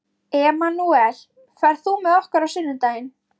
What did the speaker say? Emanúel, ferð þú með okkur á sunnudaginn?